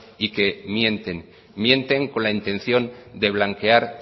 y que mienten mienten con la intención de blanquear